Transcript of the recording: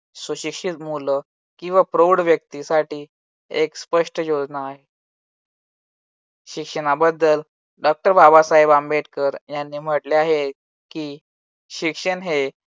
सुशिक्षित मुलं किंवा प्रौढ व्यक्तींसाठी एक स्पष्ट योजना आहे. शिक्षणाबद्दल डॉक्टर बाबासाहेब आंबेडकर यांनी म्हटले आहे की शिक्षण हे